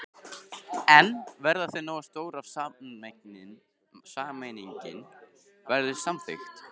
En verða þau nógu stór ef sameining verður samþykkt?